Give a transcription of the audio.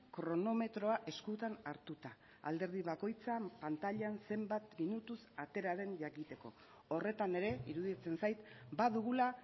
kronometroa eskutan hartuta alderdi bakoitzan pantailan zenbat minutuz atera den jakiteko horretan ere iruditzen zait badugula